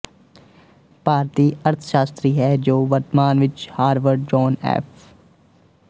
ਭਾਰਤੀ ਅਰਥਸ਼ਾਸਤਰੀ ਹੈ ਜੋ ਵਰਤਮਾਨ ਵਿੱਚ ਹਾਵਰਡ ਜੌਨ ਐਫ